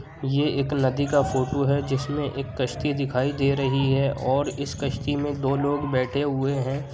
ये एक नदी का फोटो है जिसमें एक कश्ती दिखाई दे रही है और इस कश्ती में दो लोग बैठे हुए हैं।